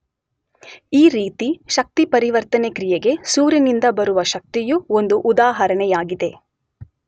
ಈ ರೀತಿ ಶಕ್ತಿ ಪರಿವರ್ತನೆ ಕ್ರಿಯೆಗೆ ಸೂರ್ಯನಿಂದ ಬರುವ ಶಕ್ತಿಯು ಒಂದು ಉದಾಹರಣೆಯಾಗಿದೆ.